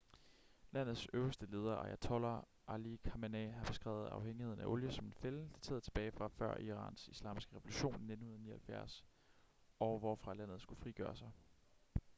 landets øverste leder ayatollah ali khamenei har beskrevet afhængigheden af olie som en fælde dateret tilbage fra før irans islamiske revolution i 1979 og hvorfra landet skulle frigøre sig